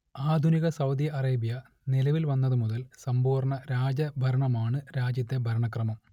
ആധുനിക Saudi Arabia നിലവിൽ വന്നത് മുതൽ സമ്പൂർണ രാജ ഭരണമാണ് രാജ്യത്തെ ഭരണക്രമം